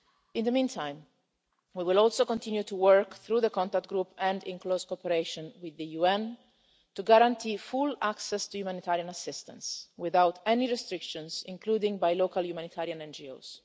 In the meantime, we will also continue to work through the contact group and in close cooperation with the UN to guarantee full access to humanitarian assistance without any restrictions, including by local humanitarian